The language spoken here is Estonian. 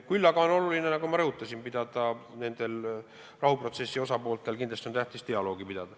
Küll aga on kindlasti tähtis, nagu ma rõhutasin, et rahuprotsessi osapooled peaksid dialoogi.